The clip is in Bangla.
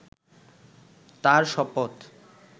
তাঁর শপথ